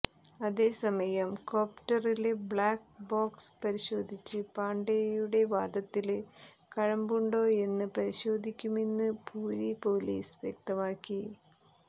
അതേസമയം കോപ്ടറിലെ black box പരിശോധിച്ച് പാണ്ഡേയുടെ വാദത്തില് കഴമ്പുണ്ടോയെന്ന് പരിശോധിക്കുമെന്ന് പുരി പൊലീസ് വ്യക്തമാക്കി